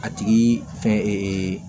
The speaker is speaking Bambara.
A tigi fɛn